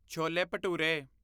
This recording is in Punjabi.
ਛੋਲੇ ਭਟੂਰੇ